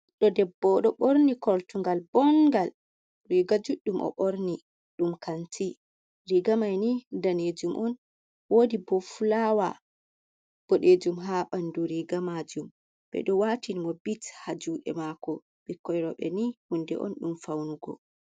Ɓiɗɗo debbo ɗo borni koltunngal bonngal, riga judɗum o borni ɗum kanti, riga maini danejum on wodi bo fulawa bodejum ha ɓandu riga majum, beɗo watin mo bit ha juɗe mako, bikkoi roɓe ni hunnde on ɗum faunugo.